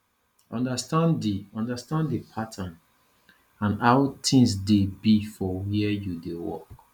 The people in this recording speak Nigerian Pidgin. understand di understand di pattern and how things dey be for where you dey work